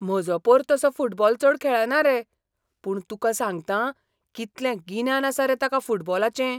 म्हजो पोर तसो फुटबॉल चड खेळना रे, पूण तुका सांगतां, कितलें गिन्यान आसा रे ताका फुटबॉलाचें!